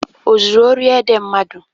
O zuru ori ede mmadụ?